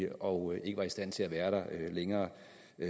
og ikke var i stand til at være der længere